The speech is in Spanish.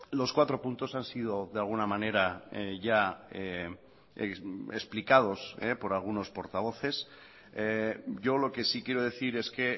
los cuatro puntos han sido de alguna manera ya explicados por algunos portavoces yo lo que sí quiero decir es que